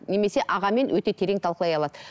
немесе ағамен өте терең талқылай алады